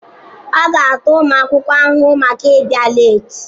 A ga-ata ụmụ akwụkwọ ahụhụ maka ịbịa leeti.